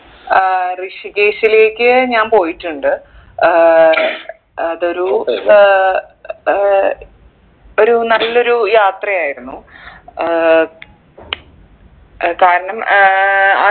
ഏർ ഋഷികേശിലേക്ക് ഞാൻ പോയിട്ടുണ്ട് ഏർ അതൊരു ഏർ ഒരു നല്ലൊരു യാത്രയായിരുന്നു ഏർ ഏർ കാരണം ഏർ